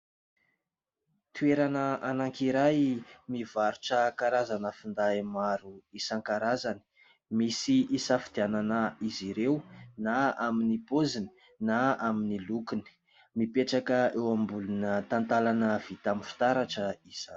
Toerana anankiray mivarotra karazana finday maro isankarazany misy hisafidianana izy ireo na amin'ny poziny na amin'ny lokony, mipetraka eo ambony talatalana vita amin'ny fitaratra izany.